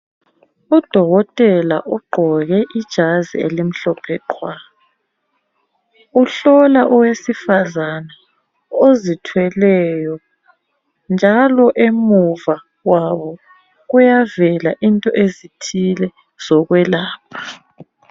Udokotela ugqoke ijazi elimhlophe qhwa. Uhlola owesifazana ozithweleyo njalo emuva kwabo kuyavela into ezithile zokwelapha.